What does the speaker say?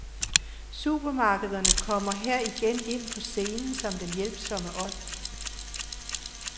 Supermarkederne kommer her igen ind på scenen som den hjælpsomme ånd.